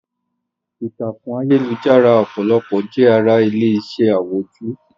Ìtàkùn ayélujára ọ̀pọ̀lọpọ̀ jẹ́ ara ilé-iṣẹ́ àwùjọ.